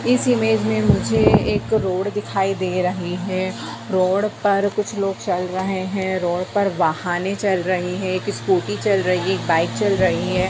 इस इमेंज में मुझे एक रोड दिखाई दे रहें हैं रोड पर कुछ लोग चल रहें हैं रोड पर वाहनें चल रही है एक स्कूटी चल रही है एक बाइक चल रही है।